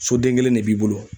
Soden kelen ne b'i bolo